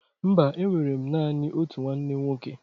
Mba, enwere m naanị otu nwanne nwoke